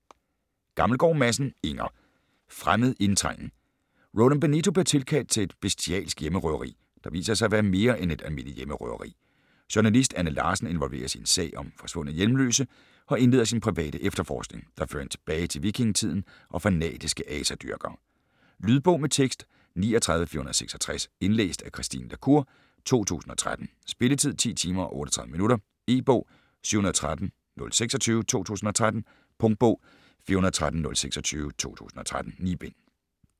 Gammelgaard Madsen, Inger: Fremmed indtrængen Roland Benito bliver tilkaldt til et bestialsk hjemmerøveri, der viser sig at være mere end et almindeligt hjemmerøveri. Journalist Anne Larsen involveres i en sag om forsvundne hjemløse og indleder sin private efterforskning, der fører hende tilbage til vikingetiden og fanatiske asadyrkere. Lydbog med tekst 39466 Indlæst af Christine la Cour, 2013. Spilletid: 10 timer, 38 minutter. E-bog 713026 2013. Punktbog 413026 2013. 9 bind.